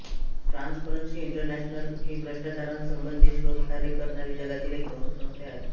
transparency International ही भ्रष्टाचारासंबंधी शोधकार्य करणारी जगातील एक प्रमुख संस्था आहे